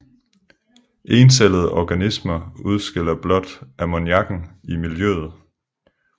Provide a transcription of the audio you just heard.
Encellede organismer udskiller blot ammoniakken i miljøet